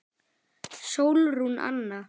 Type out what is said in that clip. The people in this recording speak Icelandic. Sólrún Anna.